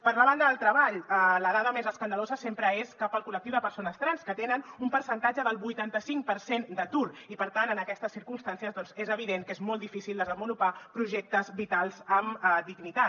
per la banda del treball la dada més escandalosa sempre és cap al col·lectiu de persones trans que tenen un percentatge del vuitanta cinc per cent d’atur i per tant en aquestes circumstàncies doncs és evident que és molt difícil desenvolupar projectes vitals amb dignitat